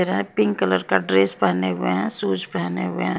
रहे हैं pink colour का ड्रेस पहने हुए हैं शूज पहने हुए हैं।